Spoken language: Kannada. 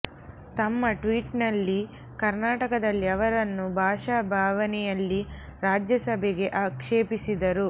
ತಮ್ಮ ಟ್ವೀಟ್ ನಲ್ಲಿ ಕರ್ನಾಟಕದಲ್ಲಿ ಅವರನ್ನು ಭಾಷಾಭಾವನೆಯಲ್ಲಿ ರಾಜ್ಯ ಸಭೆಗೆ ಆಕ್ಷೇಪಿಸಿದರು